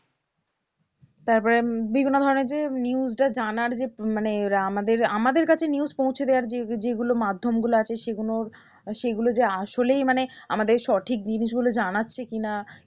তারপরে বিভিন্ন ধরণের যে news টা জানার যে মানে আমাদের আমাদের কাছে নিউজ পৌঁছে দেওয়ার যে যেগুলো মাধ্যমগুলো আছে সেগুলোর সেগুলো যে আসলেই মানে আমাদের সঠিক জিনিসগুলো জানাচ্ছে কিনা